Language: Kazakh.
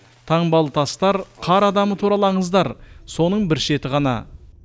таңбалы тастар қар адамы туралы аңыздар соның бір шеті ғана